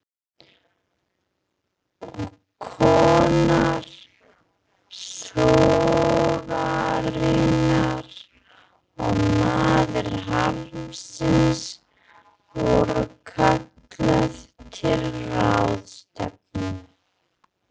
Og kona sorgarinnar og maður harmsins voru kölluð til ráðstefnu.